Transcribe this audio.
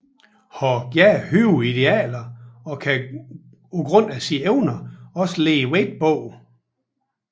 Har gerne høje idealer og kan grundet sine evner også lægge vægt bag